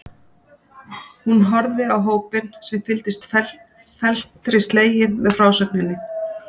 Hún horfði á hópinn sem fylgdist felmtri sleginn með frásögninni.